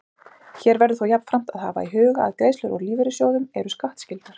Hér verður þó jafnframt að hafa í huga að greiðslur úr lífeyrissjóðum eru skattskyldar.